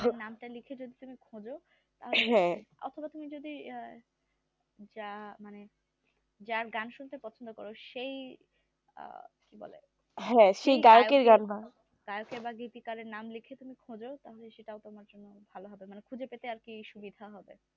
যা মানে যার গান শুনতে পছন্দ কর সেই আহ কি বলে গায়কের বা গীতিকারের নাম লাইক খুঁজো তাহলে সেটা তোমার জন্যে ভালো হবে মানে খুঁজে পেতে আর কি সুবিধা হবে